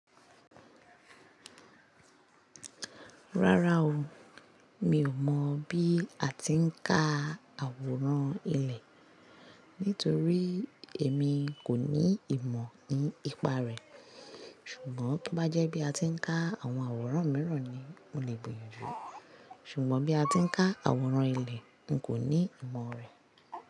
Rárá o, mi ò mọ bí a ti ń ká àwòrán ilẹ̀ nítorí èmi kò ní ìmọ̀ nípa rẹ̀. Ṣùgbọ́n tó bá jẹ́ bí a ti ń ká àwọn àwòrán míràn ni mo lè gbìyànjú. Ṣùgbọ́n bí a ti ń ká àwòrán ilẹ̀, n kò ní ìmọ̀ rẹ̀.